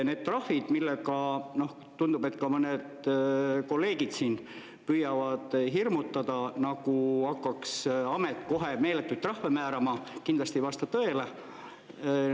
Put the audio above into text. Need trahvid, millega, tundub, et ka mõned kolleegid siin püüavad hirmutada, nagu hakkaks amet kohe meeletuid trahve määrama, kindlasti ei vasta tõele.